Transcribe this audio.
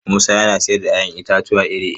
Musa yana sayar da 'ya'yan itatuwa iri-iri.